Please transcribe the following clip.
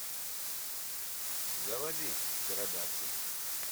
заводи птеродактиль